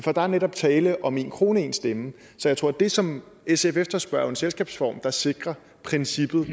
er der netop tale om én krone én stemme så jeg tror at det som sf efterspørger er en selskabsform der sikrer princippet